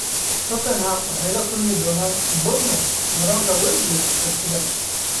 Tottenham waxay la kulmi doonaan Bournemouth garoonka Wembley Sabtida.